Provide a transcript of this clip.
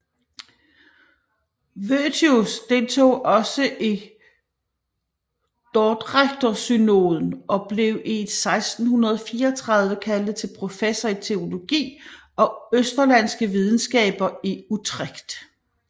Voetius deltog også i dordrechtersynoden og blev 1634 kaldet til professor i teologi og østerlandske videnskaber i Utrecht